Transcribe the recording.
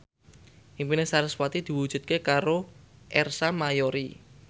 impine sarasvati diwujudke karo Ersa Mayori